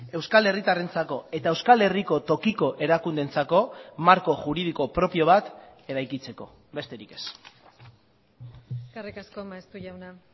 euskal herritarrentzako eta euskal herriko tokiko erakundeentzako marko juridiko propio bat eraikitzeko besterik ez eskerrik asko maeztu jauna